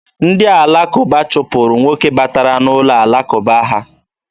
Ndị alakụba chụpụrụ nwoke batara n'ụlọ alakụba ha.